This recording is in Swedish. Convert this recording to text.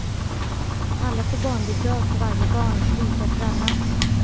Alla får barnbidrag för varje barn, lika för alla.